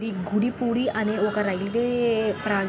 ఇది గుడి. గుడి అనే ఒక రైల్వే ప్రాం--